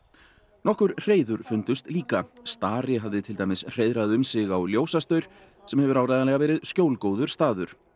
nokkur hreiður fundust líka starri hafði til dæmis hreiðrað um sig á ljósastaur sem hefur áreiðanlega verið skjólgóður staður